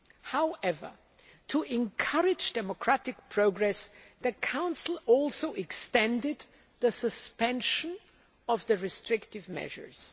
However, to encourage democratic progress, the Council also extended the suspension of the restrictive measures.